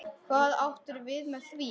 Hvað áttirðu við með því?